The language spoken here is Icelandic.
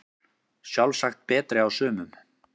Sjálfsagt betri á sumum